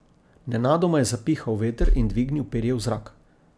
Nenadoma je zapihal veter in dvignil perje v zrak.